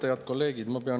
Head kolleegid!